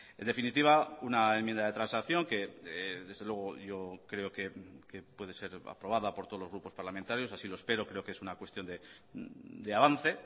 en definitiva una enmienda de transacción que desde luego yo creo que puede ser aprobada por todos los grupos parlamentarios así lo espero creo que es una cuestión de avance